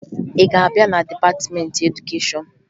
Ị ga-abịa na dịpatịmentị edukeshọn?